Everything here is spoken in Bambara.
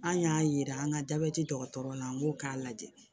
An y'a yira an ka jabɛti dɔgɔtɔrɔ na n'o k'a lajɛ